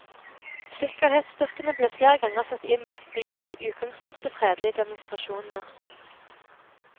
Sikkerhetsstyrkene ble flere ganger satt inn mot de i utgangspunktet fredelige demonstrasjonene.